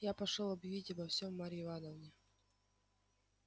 я пошёл объявить обо всём марье ивановне